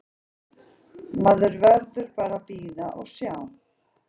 Maður verður bara að bíða og sjá.